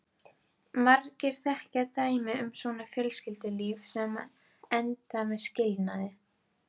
Margir þekkja dæmi um svona fjölskyldulíf sem enda með skilnaði.